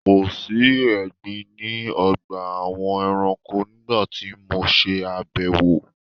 Kòsí egbin ní ọgbà àwọn ẹranko nígbà tí mo ṣe àbẹwò.